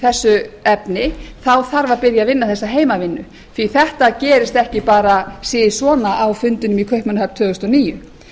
þessu efni þarf að byrja að vinna þessa heimavinnu því að þetta gerist ekki bara sisvona á fundinum í kaupmannahöfn tvö þúsund og níu